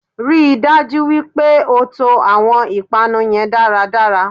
Ríi dájú wípé o to àwon ìpanu yen dáradára